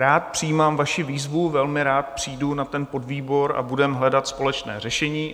Rád přijímám vaši výzvu, velmi rád přijdu na ten podvýbor a budeme hledat společné řešení.